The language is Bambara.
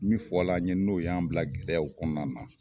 Min fɔla an ye n'o y'an bila gɛlɛyaw kɔnɔna la